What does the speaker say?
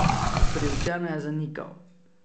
Priučeno je zanikal.